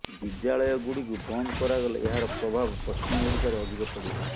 ବିଦ୍ୟାଳୟ ଗୁଡିକୁ ବନ୍ଦ କରାଗଲେ ଏହାର ପ୍ରଭାବ ପଶ୍ଚିମ ଓଡିଶାରେ ଅଧିକ ପଡିବ